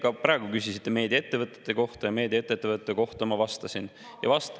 Ka praegu te küsisite meediaettevõtete kohta ja meediaettevõtete kohta ma ka vastasin.